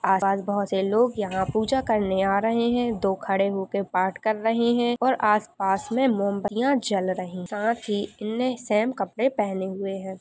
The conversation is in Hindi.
आस-पास बहुत से लोग यहाँ पूजा करने आ रहे हैं दो खड़े होके पाठ कर रहे हैं और आस-पास में मोमबत्तीयां जल रही हैं साथ ही इनने सैम कपड़े पहने हुए हैं।